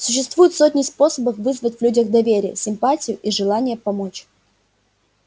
существуют сотни способов вызвать в людях доверие симпатию и желание помочь